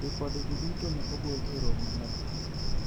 ripode go duto ne ogol e romo maduong'